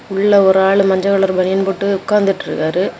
உள்ள ஒரு ஆளு மஞ்ச கலர் பனியன் போட்டு உக்காந்துட்டு இருக்காரு.